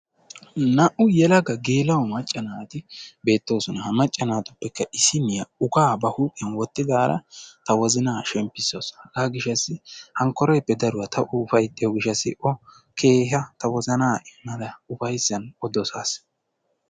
Naa''u yelaga gela'o macca naati beettoosona. ha macca naatuppekka issiniya ukkaa ba huuphiyaan wottidaara ta wozanna shempissasu. hega gishshasi hinkkoreppe daruwaa ta o ufayttiyo gishshassi ta wozanani keehippe dosaas.